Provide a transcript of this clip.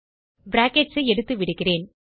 brackets ஐ எடுத்துவிடுகிறேன்